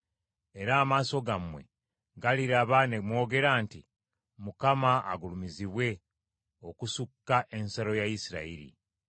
Era amaaso gammwe galiraba ne mwogera nti, ‘ Mukama agulumizibwe okusukka ensalo ya Isirayiri.’